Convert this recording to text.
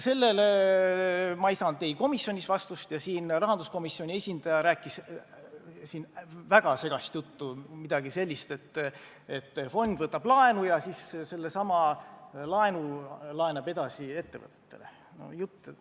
Sellele ma ei saanud komisjonis vastust ja siin ka rahanduskomisjoni esindaja rääkis väga segast juttu – midagi sellist, et fond võtab laenu ja siis sellesama laenu laenab edasi ettevõtetele.